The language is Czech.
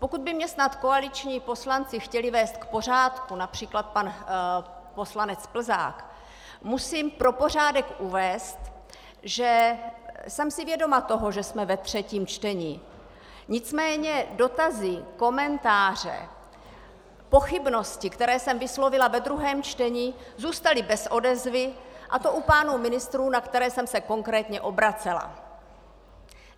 Pokud by mě snad koaliční poslanci chtěli vést k pořádku, například pan poslanec Plzák, musím pro pořádek uvést, že jsem si vědoma toho, že jsme ve třetím čtení, nicméně dotazy, komentáře, pochybnosti, které jsem vyslovila ve druhém čtení, zůstaly bez odezvy, a to u pánů ministrů, na které jsem se konkrétně obracela.